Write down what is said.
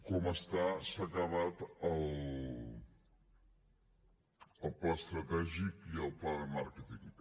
diu s’han acabat el pla estratègic i el pla de màrqueting